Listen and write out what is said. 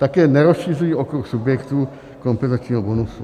Také nerozšiřují okruh subjektů kompenzačního bonusu.